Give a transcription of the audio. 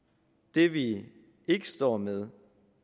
det vi ikke står med